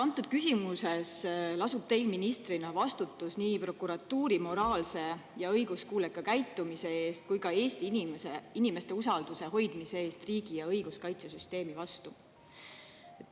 Antud küsimuses lasub teil ministrina vastutus nii prokuratuuri moraalse ja õiguskuuleka käitumise eest kui ka Eesti inimeste usalduse hoidmise eest riigi ja õiguskaitsesüsteemi vastu.